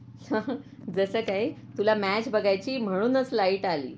Laughter जस काही तुला मॅच बघायची म्हणूनच लाईट आली